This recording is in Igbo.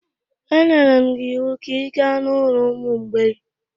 E nyere m gị iwu ka ị gaa n'ụlọ ụmụ mgbei!